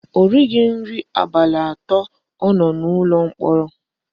O righi nri abalị atọ ọ nọ n'ụlọ mkpọrọ